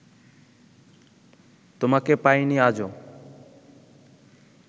তোমাকে পাইনি আজো